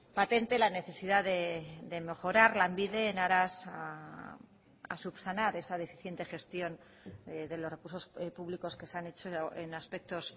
patente la necesidad de mejorar lanbide en aras a subsanar esa deficiente gestión de los recursos públicos que se han hecho en aspectos